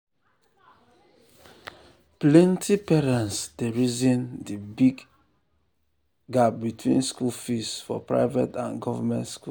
plenty parents dey reason the big the big gap between school fees for private and government school.